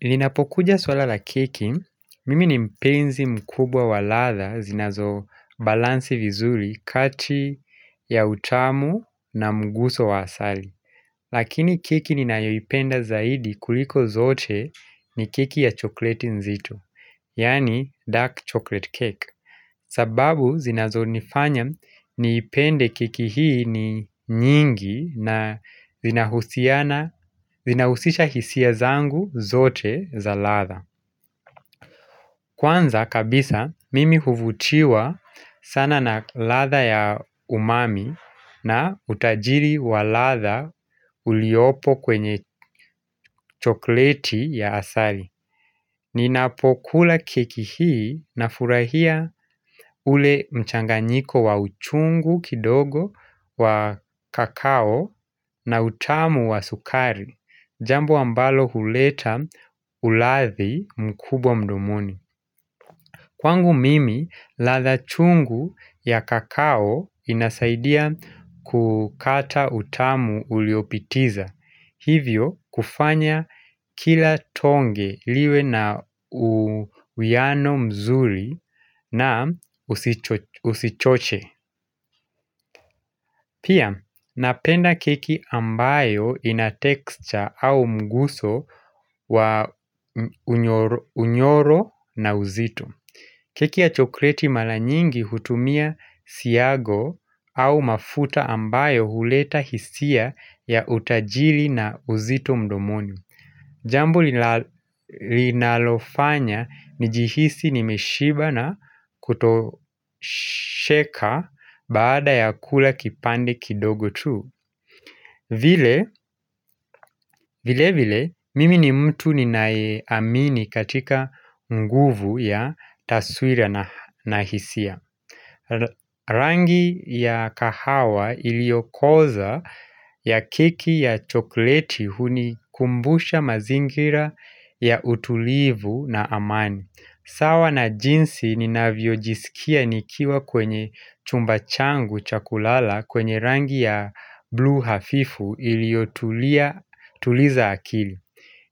Ninapokuja swala la keki, mimi ni mpenzi mkubwa wa ladha zinazo balansi vizuri kati ya utamu na mguso wa asali. Lakini keki ninayoipenda zaidi kuliko zote ni keki ya chokleti nzito, yaani dark chocolate cake. Sababu zinazonifanya niipende keki hii ni nyingi na inahusiana zinahusisha hisia zangu zote za ladha. Kwanza kabisa mimi huvutiwa sana na ladha ya umami na utajiri wa ladha uliopo kwenye chokleti ya asali. Ninapokula keki hii nafurahia ule mchanganyiko wa uchungu kidogo wa kakao na utamu wa sukari. Jambo ambalo huleta uladhi mkubwa mdomoni Kwangu mimi, ladha chungu ya kakao inasaidia kukata utamu uliopitiza. Hivyo kufanya kila tonge liwe na uwiano mzuri na usichoche Pia napenda keki ambayo ina texture au mguso wa unyoro na uzito keki ya chokoleti mara nyingi hutumia siago au mafuta ambayo huleta hisia ya utajiri na uzito mdomoni Jambo linalofanya nijihisi nimeshiba na kutosheka baada ya kula kipande kidogo tu. Vile vile mimi ni mtu ninaeamini katika nguvu ya taswira na hisia. Rangi ya kahawa iliokoza ya keki ya chokoleti hunikumbusha mazingira ya utulivu na amani. Sawa na jinsi ninavyojisikia nikiwa kwenye chumba changu cha kulala kwenye rangi ya blue hafifu iliotuliza akili